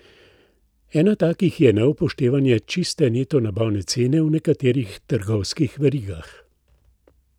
Ena takih je neupoštevanje čiste neto nabavne cene v nekaterih trgovskih verigah.